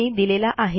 यांनी दिलेला आहे